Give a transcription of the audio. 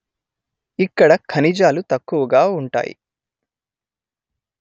ఇక్కడ ఖనిజాలు తక్కువగా ఉంటాయి